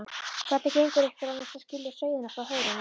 Hvernig gengur ykkur annars að skilja sauðina frá höfrunum?